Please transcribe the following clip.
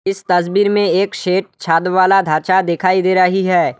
इस तस्वीर में एक शेड छत वाला ढांचा दिखाई दे रही है।